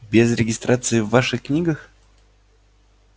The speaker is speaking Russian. без регистрации в ваших книгах